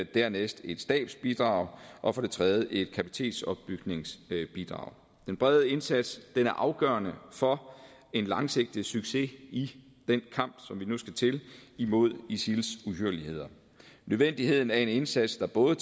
det andet et stabsbidrag og for det tredje et kapacitetsopbygningsbidrag den brede indsats er afgørende for en langsigtet succes i den kamp vi nu skal til imod isils uhyrligheder nødvendigheden af en indsats der både